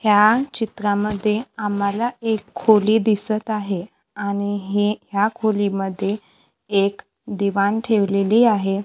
ह्या चित्रामध्ये आम्हाला एक खोली दिसतं आहे आणि हे ह्या खोलीमध्ये एक दिवाण ठेवलेली आहे.